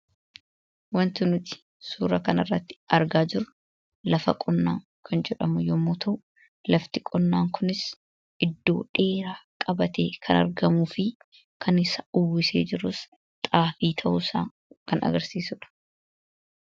Suuraa kanaa gadii irratti kan argamu lafa qonnaati. Kunis bakka dheeraa qabatee kan jiruu fi kan isa uwwisee jirus Xaafii dha.